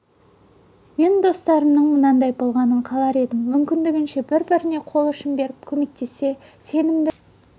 мен достарымның мынандай болғанын қалар едім мүмкіндігінше бір-біріне қол ұшын беріп көмектессе сенімді және сенетін адам